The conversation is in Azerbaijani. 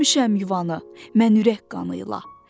Hörmüşəm yuvanı, mən ürək qanıyla.